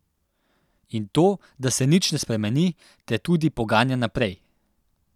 In to, da se nič ne spremeni, te tudi poganja naprej.